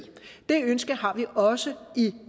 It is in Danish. det ønske har vi også i